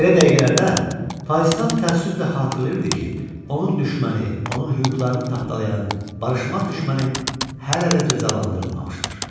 Belə dəqiqələrdə Faistav təəssüflə xatırlayırdı ki, onun düşməni, onun hüquqlarını tapdalayan barışmaz düşməni hələ də cəzalandırılmamışdır.